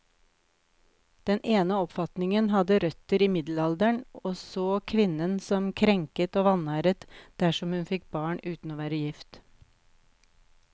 Den ene oppfatningen hadde røtter i middelalderen, og så kvinnen som krenket og vanæret dersom hun fikk barn uten å være gift.